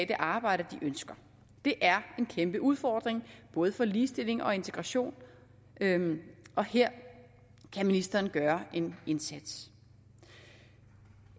det arbejde de ønsker det er en kæmpe udfordring både for ligestilling og integration og her kan ministeren gøre en indsats